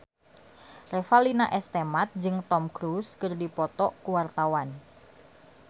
Revalina S. Temat jeung Tom Cruise keur dipoto ku wartawan